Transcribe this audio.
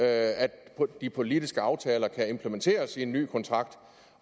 at de politiske aftaler kan implementeres i en ny kontrakt